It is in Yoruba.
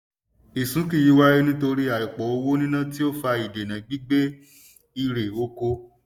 ìsúnkì yìí wáyé nítorí àìpọ̀ owó níná tí ó fa ìdènà gbígbé irè oko.